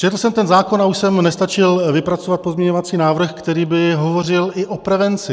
Četl jsem ten zákon a už jsem nestačil vypracovat pozměňovací návrh, který by hovořil i o prevenci.